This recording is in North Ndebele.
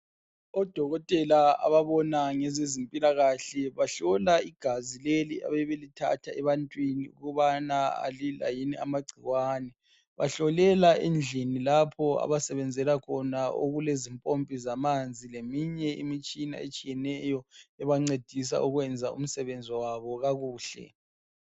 Odokotela ababona ngezezempilakahle bahlola igazi leli ebebelithatha ebantwini ukubana alila yini amagciwane. Bahlolela endlini lapho abasebenzela khona okulezimpompi zamanzi leminye imitshina etshiyeneyo ebancedisa ukwenza imisebenzi yabo kakuhle.